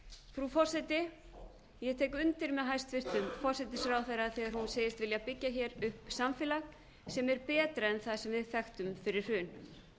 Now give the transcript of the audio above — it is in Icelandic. frú forseti ég tek undir með hæstvirtum forsætisráðherra þegar hún segist vilja byggja hér upp samfélag sem er betra en það sem við þekktum fyrir hrun